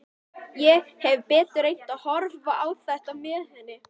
Ég hefði betur reynt að horfa á þetta með henni.